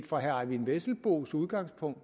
fra herre eyvind vesselbos udgangspunkt